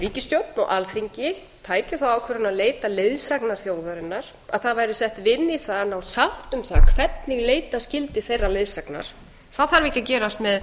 ríkisstjórn og alþingi tækju þá ákvörðun að leita leiðsagnar þjóðarinnar að það væri sett vinna í það að ná sátt um það hvernig leita skyldi þeirrar leiðsagnar það þarf ekki að gerast með